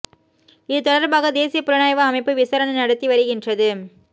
இது தொடர்பாக தேசிய புலனாய்வு அமைப்பு விசாரணை நடத்தி வருகின்றது